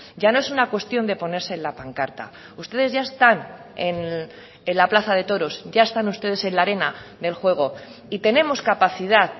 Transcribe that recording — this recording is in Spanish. ya no es una cuestión de ponerse en la pancarta ustedes ya están en la plaza de toros ya están ustedes en la arena del juego y tenemos capacidad